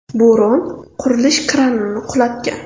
Bo‘ron qurilish kranini qulatgan .